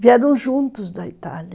Vieram juntos da Itália.